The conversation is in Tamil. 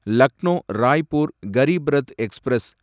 லக்னோ ராய்பூர் கரிப் ரத் எக்ஸ்பிரஸ்